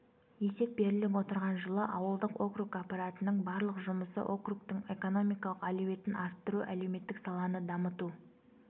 есеп беріліп отырған жылы ауылдық округ аппаратының барлық жұмысы округтің экономикалық әлеуетін арттыру әлеуметтік саланы дамыту